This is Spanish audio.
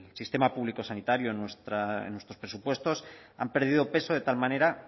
sistema público sanitario en nuestros presupuestos ha perdido peso de tal manera